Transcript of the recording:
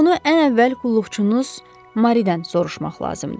Bunu ən əvvəl qulluqçunuz Maridən soruşmaq lazımdır.